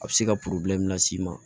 A bɛ se ka las'i ma